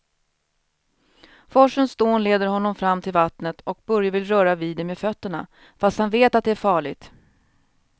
Forsens dån leder honom fram till vattnet och Börje vill röra vid det med fötterna, fast han vet att det är farligt.